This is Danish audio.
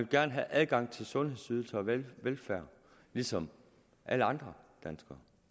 gerne have adgang til sundhedsydelserne og velfærden ligesom alle andre danskere